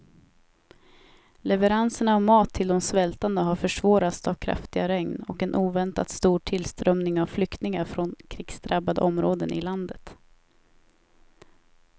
Leveranserna av mat till de svältande har försvårats av kraftiga regn och en oväntat stor tillströmning av flyktingar från krigsdrabbade områden i landet.